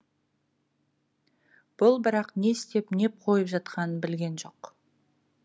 бұл бірақ не істеп не қойып жатқанын білген жоқ